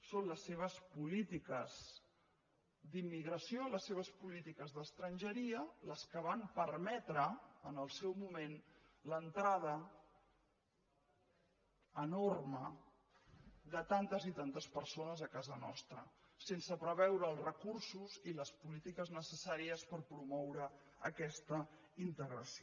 són les seves polítiques d’immigració les seves polítiques d’estrangeria les que van permetre en el seu moment l’entrada enorme de tantes i tantes persones a casa nostra sense preveure els recursos i les polítiques necessàries per promoure aquesta integració